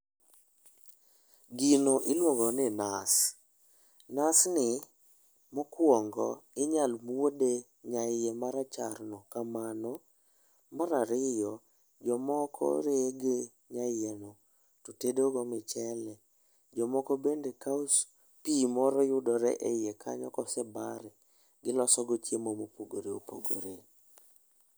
Gino ilwongo ni nas, nas ni mokwongo inyal muode nya iye marachar no kamano mar ariyo jok moko rege nya iye no to tedo go michele jomoko bende kawo pi moro yudore e iye kanyo ka osebare gi iloso go chiemo ma opogore opogore